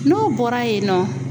N'o bɔra yen nɔ